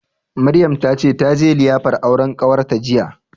Maryam ta ce taje liyafar auren ƙawarta jiya